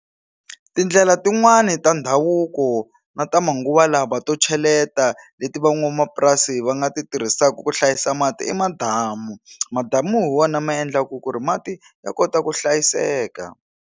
Tindlela tin'wani ta ndhavuko na ta manguva lawa to cheleta leti van'wamapurasi va nga ti tirhisaka ku hlayisa mati i madamu madamu hi wona ma endlaka ku ri mati ya kota ku hlayiseka.